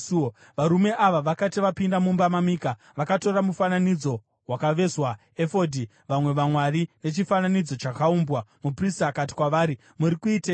Varume ava vakati vapinda mumba maMika, vakatora mufananidzo wakavezwa, efodhi, vamwe vamwari nechifananidzo chakaumbwa, muprista akati kwavari, “Muri kuiteiko?”